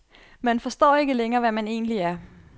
Man forstår ikke længere, hvad man egentlig er.